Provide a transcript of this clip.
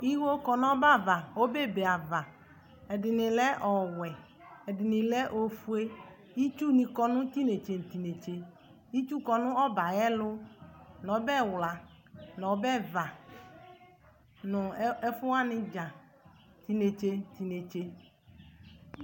Iwo kɔ nu ɔbɛ ava Ɔbɛ be ava Ɛdini lɛ ɔwɛ eduni lɛ ifue Itsu nikɔ nu tinetse tinetse Itsy kɔ nu ɔbɛ yɛ ayɛlu nɔbɛwla nɔbɛva nɛfuwanidza nu tinetse ninetse